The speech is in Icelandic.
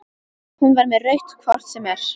Hún var með rautt hvort sem er.